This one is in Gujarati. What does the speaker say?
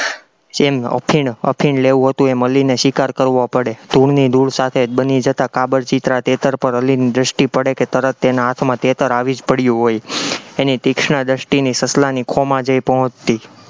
ચીન અફીણ, અફીણ લેવું હતું એ મળીને શિકાર કરવો પડે, ધૂળની ધૂળ સાથે બની જતા કાબરચીતરા તેતર પર અલીની દ્રષ્ટિ પડે કે તરત તેના હાથમાં તેતર આવી જ પડ્યું હોય, એની તીક્ષ્ણ દ્રષ્ટિની સસલાની ખો માં જય પહોંચતી.